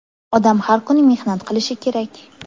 Odam har kuni mehnat qilishi kerak!